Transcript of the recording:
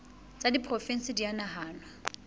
tsa diporofensi di a nahanwa